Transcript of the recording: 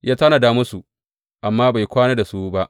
Ya tanada musu, amma bai kwana da su ba.